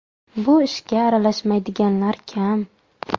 Bu ishga aralashmaydiganlar kam.